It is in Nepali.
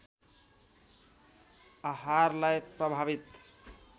आहारलाई प्रभावित